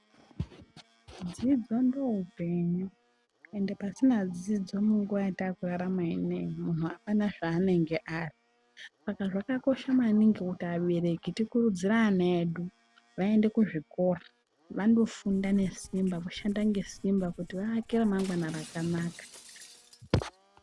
Dzidzo ndooupenyu ende pasina dzidzo munguva yataakurarama ineyi munhu hapana zvaanenge ari. Saka zvakakosha maningi kuti abereki tikurudzire ana edu vaende kuzvikora vanofunda ngesimba, kushanda nesimba kuti vaake ramangwana rakanaka.